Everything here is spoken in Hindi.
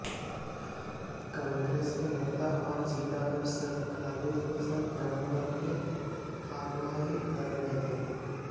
कांगे्रस के नेता और जिला पार्षद खालिद हुसैन ग्रामीणों की अगुवाई कर रहे थे